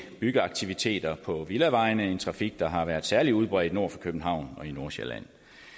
byggeaktiviteter på villavejene en trafik der har været særlig udbredt nord for københavn og i nordsjælland